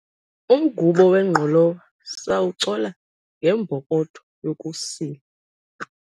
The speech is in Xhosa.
umgubo wengqolowa sawucola ngembokotho yokusila